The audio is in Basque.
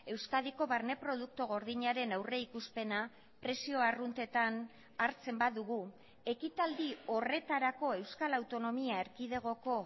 euskadiko barne produktu gordinaren aurrikuspena prezio arruntetan hartzen badugu ekitaldi horretarako euskal autonomia erkidegoko